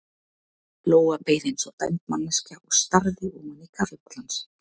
Lóa beið eins og dæmd manneskja og starði ofan í kaffibollann sinn.